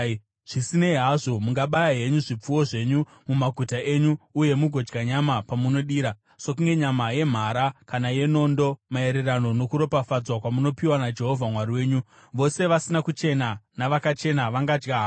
Zvisinei hazvo, mungabaya henyu zvipfuwo zvenyu mumaguta enyu uye mugodya nyama pamunodira, sokunge nyama yemhara kana yenondo maererano nokuropafadzwa kwamunopiwa naJehovha Mwari wenyu. Vose vasina kuchena navakachena vangadya havo.